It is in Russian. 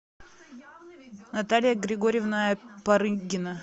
наталья григорьевна парыгина